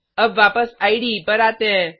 अब वापस इडे पर आते हैं